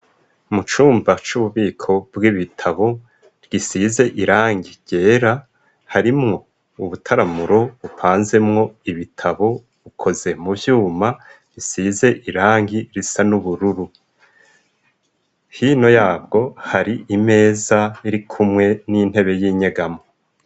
Mu cumba c'ububiko bw'ibitabo gisize irangi ryera harimwo ubutaramuro bupanzemwo ibitabo bukoze muvyuma isize irangi risa n'ubururu, hino yabwo hari imeza irikumwe n'intebe y'inyegamo.